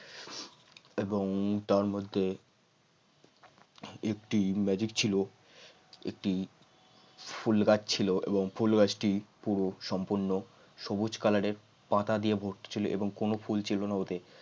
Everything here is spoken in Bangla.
এবং তার মধ্যে একটি magic ছিল একটি ফুল গাছ ছিল এবং ফুল গাছটি পুরো সম্পূর্ণ সবুজ কালারের পাতা দিয়ে ভর্তি ছিল কোন ফুল ছিল না ওতে